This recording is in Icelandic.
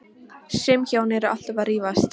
Sum hjón eru alltaf að rífast.